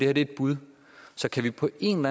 er et bud så kan vi på en